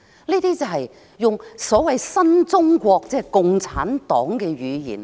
這些便是所謂的新中國，即共產黨的語言。